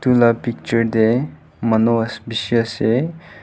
la picture tae manu bishi ase.